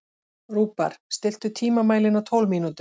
Rúbar, stilltu tímamælinn á tólf mínútur.